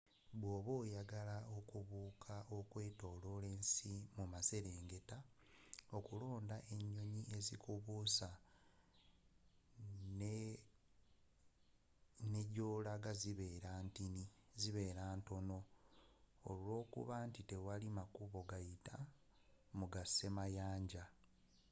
bwobeera oyagala okubuuka okwetoolola ensi mu maserengeta, okulonda enyonyi ezikubuusa ne gyolaga zibeera ntono olwokuba nti tewali makubo gayita mu ga semayanja